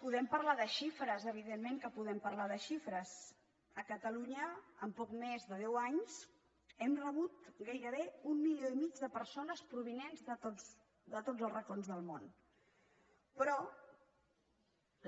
podem parlar de xifres evidentment que podem parlar de xifres a catalunya en poc més de deu anys hem rebut gairebé un milió i mig de persones provinents de tots els racons del món però